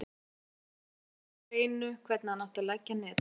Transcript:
Hann var greinilega með það á hreinu hvernig hann átti að leggja netin.